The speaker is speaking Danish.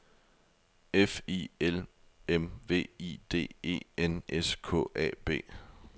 F I L M V I D E N S K A B